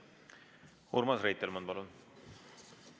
Urmas Reitelmann, palun!